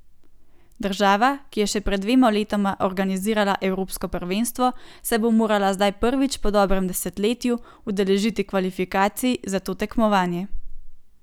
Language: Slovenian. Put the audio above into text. Država, ki je še pred dvema letoma organizirala evropsko prvenstvo, se bo morala zdaj prvič po dobrem desetletju udeležiti kvalifikacij za to tekmovanje.